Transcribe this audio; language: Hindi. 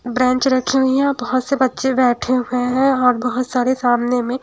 बेंच रखी हुई है और बहुत से बच्चे बैठे हुए हैं और बहुत सारे सामने में--